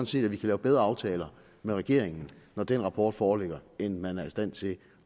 set at vi kan lave bedre aftaler med regeringen når den rapport foreligger end man er i stand til